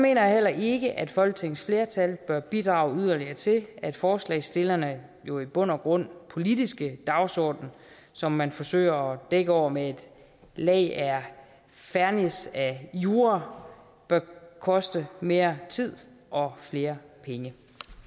jeg heller ikke at folketingets flertal bør bidrage yderligere til at forslagsstillernes jo i bund og grund politiske dagsorden som man forsøger dække over med et lag af fernis af jura bør koste mere tid og flere penge